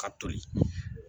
Ka toli